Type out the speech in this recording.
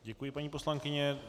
Děkuji, paní poslankyně.